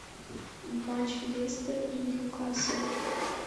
матч лестер и ньюкасл